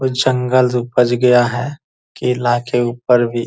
कुछ जंगल उपज गया है किला के ऊपर भी --